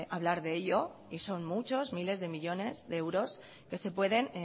hablar de ello y son muchos miles de millónes de euros que se pueden